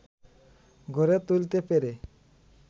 ঘরে তুলতে পেরে